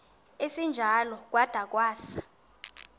esinjalo kwada kwasa